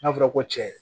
N'a fɔra ko cɛ